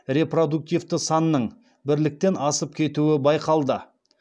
репродуктивті санның бірліктен асып кетуі байқалды